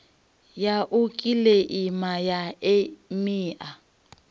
ya u kiḽeima ya emia